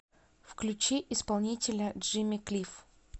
включи исполнителя джимми клиф